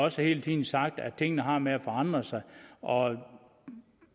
også hele tiden sagt at tingene har det med at forandre sig og